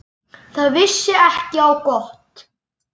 Það vissi ekki á gott.